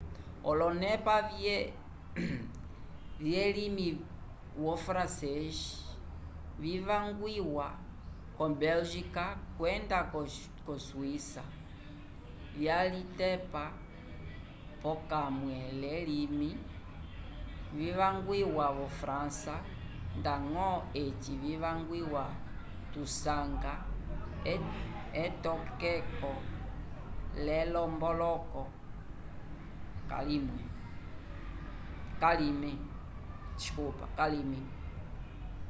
olonepa vyelimi wo francês vivangwiwa ko bélgica kwenda ko swíça vyalitepa pokamwe lelime livangwiwa vo frança ndañgo eci vivangwiwa tusanga etokeko l'elomboloko k'alime